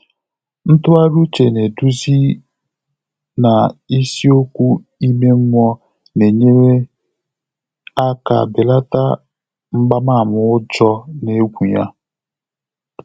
Ntụ́ghàrị́ úchè édúzí nà ísíókwú ímé mmụ́ọ́ nà-ényéré áká bèlàtà mgbààmà ụ́jọ́ nà égwú yá.